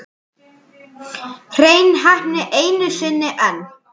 Hrein heppni einu sinni enn.